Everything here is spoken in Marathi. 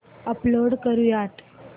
अपलोड करुयात